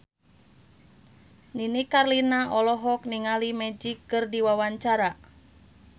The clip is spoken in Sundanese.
Nini Carlina olohok ningali Magic keur diwawancara